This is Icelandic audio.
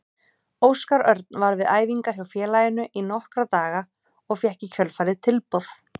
Óskar Örn var við æfingar hjá félaginu í nokkra daga og fékk í kjölfarið tilboð.